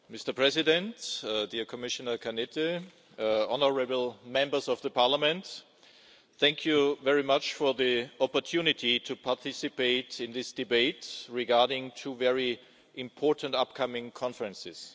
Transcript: Mr. President, dear Commissioner Cañete, honourable Members of the Parliament, thank you very much for the opportunity to participate in this debate regarding two very important upcoming conferences.